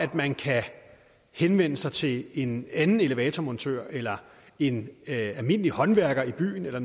at man kan henvende sig til en anden elevatormontør eller en almindelig håndværker i byen eller